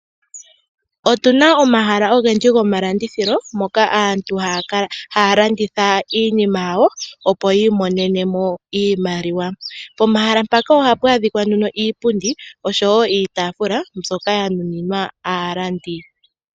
Otuna omahala ogendji goma landithilo moka aantu haya landitha iinima yawo opo yi imonenemo iimaliwa. Pomahala mpaka ohapu adhikwa nduno iipundi osho wo iitaafula mbyoka ya nuninwa aalandi.